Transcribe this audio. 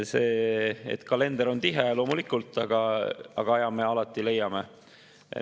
Kalender on tihe, loomulikult, aga aja me alati leiame.